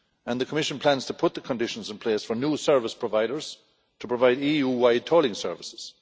The Commission plans to put the conditions in place for new service providers to provide EU wide tolling services.